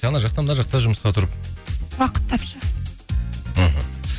ана жақта мына жақта жұмысқа тұрып уақыт тапшы мхм